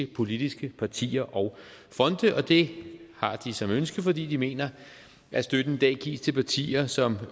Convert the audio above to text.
politiske partier og fonde og det har de som ønske fordi de mener at støtten i dag gives til alle partier som